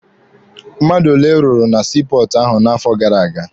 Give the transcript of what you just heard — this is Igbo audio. Mmadụ ole rụrụ na sii pọọtụ ahụ n'afọ gara aga?